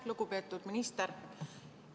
Lugupeetud minister!